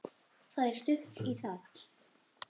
Það er stutt í það.